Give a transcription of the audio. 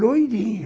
Loirinho.